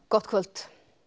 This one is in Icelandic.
gott kvöld